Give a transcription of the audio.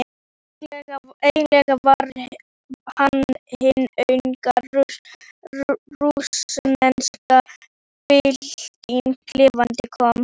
Eiginlega var hann hin unga rússneska bylting lifandi komin.